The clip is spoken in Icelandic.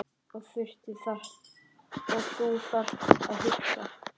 Og þú þarft að hugsa.